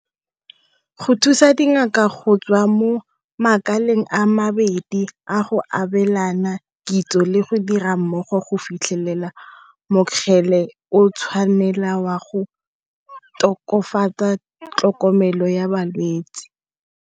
Go thusa dingaka go tswa mo makaleng a mabedi a go abelana kitso le go dira mmogo go fitlhelela mokgele o tshwanela wa go tokafatsa tlhokomelo ya balwetsi.